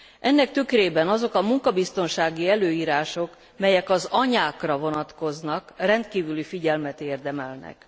Ennek tükrében azok a munkabiztonsági előírások, melyek az anyákra vonatkoznak, rendkívüli figyelmet érdemelnek.